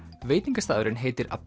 veitingastaðurinn heitir a